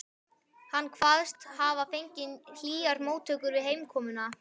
Hann kvaðst hafa fengið hlýjar móttökur við heimkomuna.